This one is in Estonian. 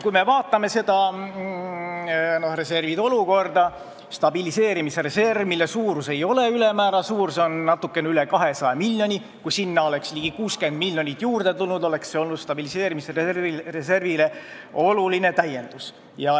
Kui vaadata reservide olukorda, stabiliseerimisreservi, mis ei ole ülemäära suur , oleks see, kui sinna oleks ligi 60 miljonit juurde tulnud, oluline täiendus olnud.